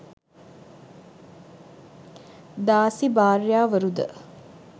දාසි භාර්යාවරු ද